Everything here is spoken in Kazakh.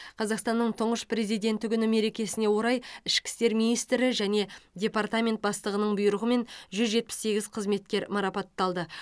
қазақстанның тұңғыш президенті күні мерекесіне орай ішкі істер министрі және департамент бастығының бұйрығымен жүз жетпіс сегіз қызметкер марапатталды